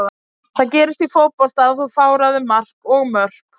Það gerist í fótbolta að þú fáir á þig mark og mörk.